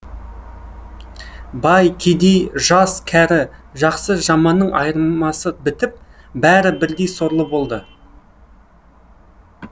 бай кедей жас кәрі жақсы жаманның айырмасы бітіп бәрі бірдей сорлы болды